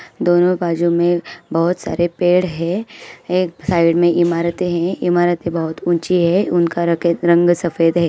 दोनों बाजू में बहुत सारे पेड़ हैं| एक साइड में इमारते हैं इमारते बहुत ऊँची है उनका रकेत रंग सफेद है।